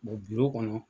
bulɔn kɔnɔ